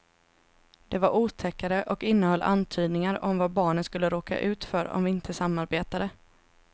Det var otäckare och innehöll antydningar om vad barnen skulle råka ut för om vi inte samarbetade.